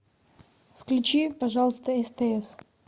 включи пожалуйста стс